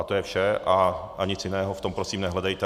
A to je vše a nic jiného v tom prosím nehledejte.